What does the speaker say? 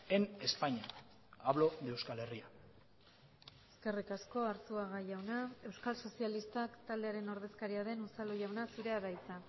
en españa hablo de euskal herria eskerrik asko arzuaga jauna euskal sozialistak taldearen ordezkaria den unzalu jauna zurea da hitza